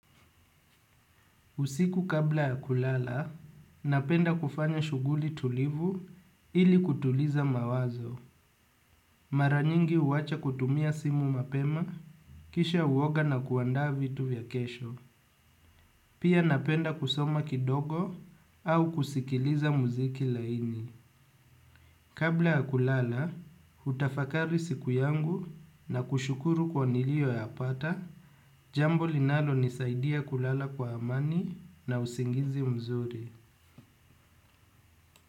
Usiku kabla ya kulala napenda kufanya shughuli tulivu ili kupunguza mawazo mara nyingi huacha kutumia simu mapema kisha huoga na kuandaa vitu vya kesho pia napenda kusoma kidogo au kusikiliza mziki laini kabla ya kulala hutafakari siku yangu na kushukuru kwa nilio yapata jambo linalonisaidia kwa amani na usingizi mzuri.